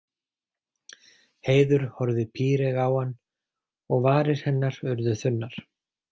Heiður horfði píreyg á hann og varir hennar urðu þunnar.